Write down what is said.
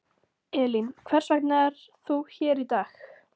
Elín: Hvers vegna er þú hér í dag?